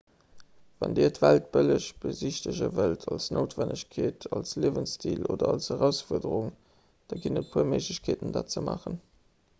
wann dir d'welt bëlleg besichtege wëllt aus noutwennegkeet als liewensstil oder als erausfuerderung da ginn et e puer méiglechkeeten dat ze maachen